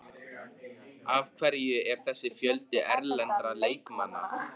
Af hverju er þessi fjöldi erlendra leikmanna?